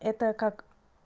это как